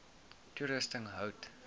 toerusting hout